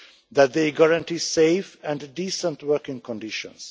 that they guarantee safe and decent working conditions